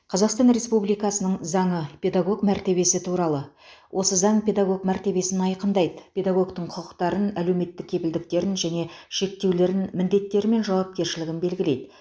қазақстан республикасының заңы педагог мәртебесі туралы осы заң педагог мәртебесін айқындайды педагогтің құқықтарын әлеуметтік кепілдіктерін және шектеулерін міндеттері мен жауапкершілігін белгілейді